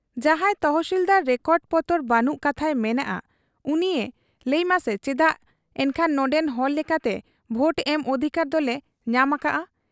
ᱡᱟᱦᱟᱸᱭ ᱛᱚᱦᱥᱤᱞᱫᱟᱨ ᱨᱮᱠᱚᱰ ᱯᱚᱛᱚᱨ ᱵᱟᱹᱱᱩᱜ ᱠᱟᱛᱷᱟᱭ ᱢᱮᱱᱮᱜ ᱟ, ᱩᱱᱤᱭᱮ ᱞᱟᱹᱭᱢᱟᱥᱮ ᱪᱮᱫᱟᱜ ᱮᱱᱠᱷᱟᱱ ᱱᱚᱱᱰᱮᱱ ᱦᱚᱲ ᱞᱮᱠᱟᱛᱮ ᱵᱷᱳᱴ ᱮᱢ ᱚᱫᱷᱤᱠᱟᱨ ᱫᱚᱞᱮ ᱧᱟᱢ ᱟᱠᱟᱜ ᱟ ?